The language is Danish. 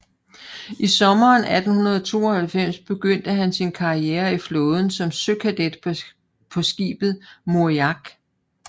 I sommeren 1892 begyndte han sin karriere i flåden som søkadet på skibet Moriak